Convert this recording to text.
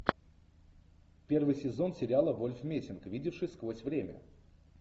первый сезон сериала вольф мессинг видевший сквозь время